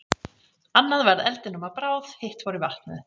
Annað varð eldinum að bráð, hitt fór í vatnið.